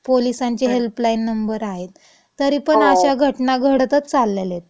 पोलिसांचे helpline number आहेत, तरी पण अशा घटना घडतंच चालेल्या येत.